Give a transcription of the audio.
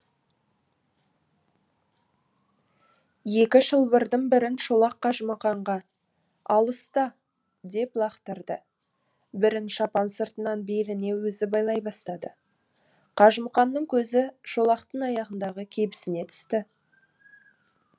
екі шылбырдың бірін шолақ қажымұқанға ал ұста деп лақтырды бірін шапан сыртынан беліне өзі байлай бастады қажымұқанның көзі шолақтың аяғындағы кебісіне түседі